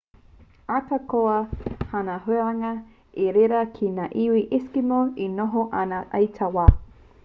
ahakoa tāna huranga i reira kē ngā iwi eskimo e noho ana i taua wā